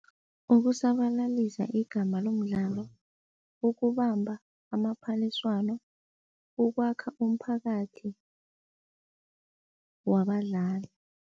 Ukusabalalisa igama lomdlalo, ukubamba amaphaliswano, ukwakha umphakathi wabadlali.